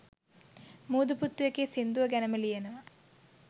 මුදු පුත්තු එකේ සිංදුව ගැනම ලියනවා